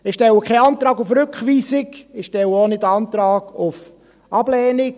Ich stelle keinen Antrag auf Rückweisung, ich stelle auch nicht Antrag auf Ablehnung.